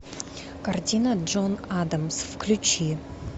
картина джон адамс включи